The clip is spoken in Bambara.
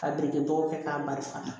Ka bere kɛ k'a barika